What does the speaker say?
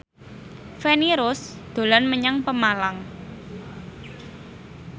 Feni Rose dolan menyang Pemalang